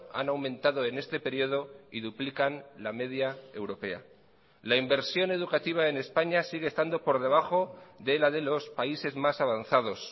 han aumentado en este periodo y duplican la media europea la inversión educativa en españa sigue estando por debajo de la de los países más avanzados